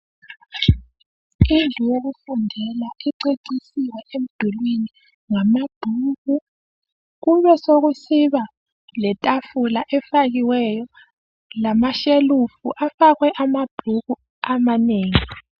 Indlu yokufundela icecisiwe emdulini ngamabhuku kube sokusiba letafula efakiwe lamashelufu afakwe amabhuku amanengi.